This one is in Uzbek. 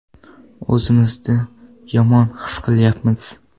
O‘zimizni yomon his qilyapmiz.